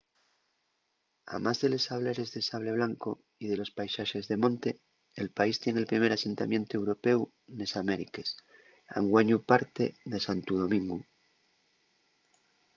amás de les sableres de sable blanco y de los paisaxes de monte el país tien el primer asentamientu européu nes amériques anguaño parte de santu domingu